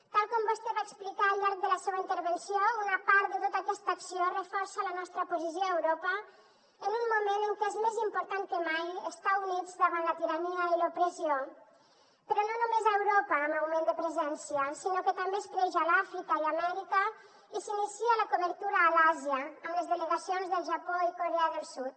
tal com vostè va explicar al llarg de la seva intervenció una part de tota aquesta acció reforça la nostra posició a europa en un moment en què és més important que mai estar units davant la tirania i l’opressió però no només a europa amb augment de presència sinó que també es creix a l’àfrica i amèrica i s’inicia la cobertura a l’àsia amb les delegacions del japó i corea del sud